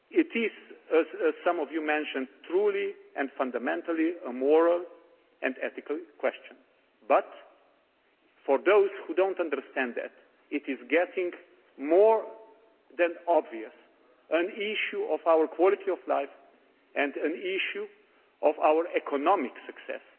that. As some of you mentioned, it is truly and fundamentally a moral and ethical question but, for those who do not understand that, it is becoming more than obvious that it is an issue of our quality of life and an issue of our economic success.